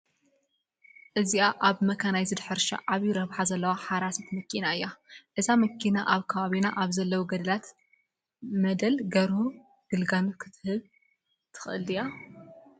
እዚኣ ኣብ መካናይዝድ ሕርሻ ዓብዪ ረብሓ ዘለዋ ሓራሲት መኪና እያ፡፡ እዛ መኪና ኣብ ከባቢና ኣብ ዘለዉ ገደላ መደል ገርሁ ግልጋሎት ክትህብ ትኽእል ድያ?